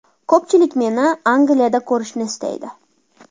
Ko‘pchilik meni Angliyada ko‘rishni istaydi.